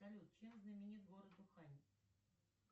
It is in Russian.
салют чем знаменит город ухань